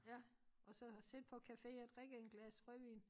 Ja og så har siddet på café og drikket en glas rødvin